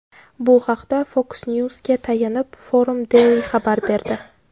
Bu haqda Fox News’ga tayanib, Forum Daily xabar berdi .